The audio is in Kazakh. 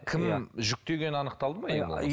кім жүктегені анықталды ма ең болмаса